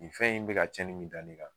Nin fɛn in bɛ ka cɛnni min da ne kan